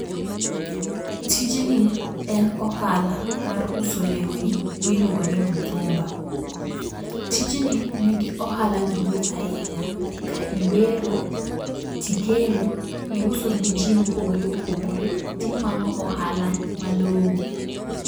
Tijni en ohala mar uso lewni miluongo ni mtumba. Tijni nigi ohala maduong' ahinya . Ka iwero tikelo iuso ne jii mopogore opogore , tinwang'o ohala malongo.